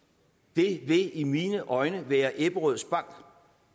det vil i mine øjne være ebberød bank